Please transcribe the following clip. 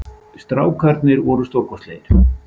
Strákarnir voru stórkostlegir